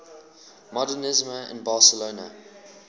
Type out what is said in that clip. modernisme in barcelona